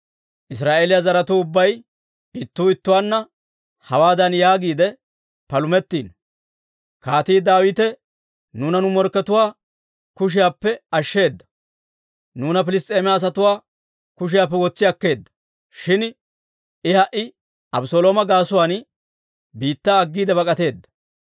Israa'eeliyaa zaratuu ubbay ittuu ittuwaanna hawaadan yaagiide palumetiino; «Kaatii Daawite nuuna nu morkkatuwaa kushiyaappe ashsheeda; nuuna Piliss's'eema asatuwaa kushiyaappe wotsi akkeedda; shin I ha"i Abeselooma gaasuwaan biittaa aggiide bak'ateedda.